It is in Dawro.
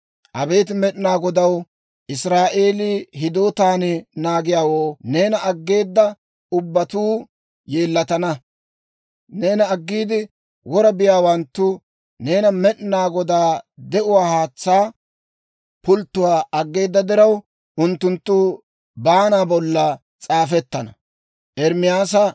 Abeet Med'inaa Godaw, Israa'eelii hidootan naagiyaawoo, neena aggeeda ubbatuu yeellatana. Neena aggiide wora biyaawanttu, neena Med'inaa Godaa, de'uwaa haatsaa pulttuwaa aggeeda diraw, unttunttu baana bolla s'aafettana.